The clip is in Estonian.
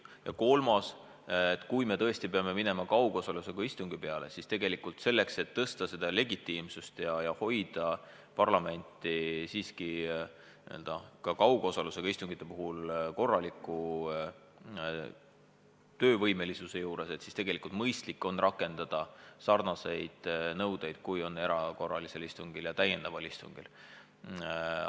Ja kolmas võimalus: kui me tõesti peame minema kaugosalusega istungi peale, siis selleks, et suurendada legitiimsust ja hoida parlament ka kaugosalusega istungite puhul korralikult töövõimeline, on mõistlik rakendada samu nõudeid kui erakorralise istungjärgu ja täiendava istungi puhul.